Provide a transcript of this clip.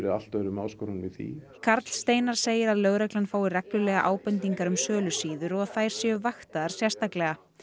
allt öðrum áskorunum í því karl Steinar segir að lögreglan fái reglulega ábendingar um sölusíður og þær séu vaktaðar sérstaklega